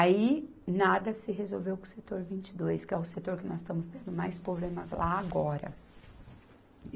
Aí nada se resolveu com o Setor vinte e dois, que é o setor que nós estamos tendo mais problemas lá agora.